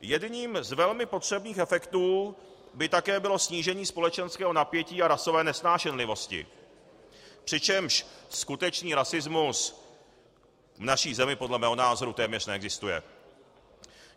Jedním z velmi potřebných efektů by také bylo snížení společenského napětí a rasové nesnášenlivosti, přičemž skutečný rasismus v naší zemi podle mého názoru téměř neexistuje.